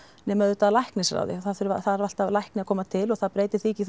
nema auðvitað af læknisráði það þarf alltaf læknir að koma til og það breytir því ekki